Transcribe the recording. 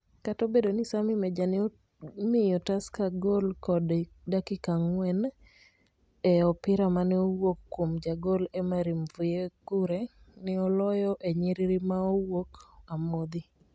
kata obedo ni Sammy Meja ne omiyo Tusker gol kod Dakika anngwen e opira mane owuok kuom jagol Emery Mvuyekure ne oloyo e nyiriri maowuok amodhi